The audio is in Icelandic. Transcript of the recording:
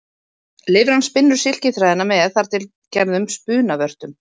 Lirfan spinnur silkiþræðina með þar til gerðum spunavörtum.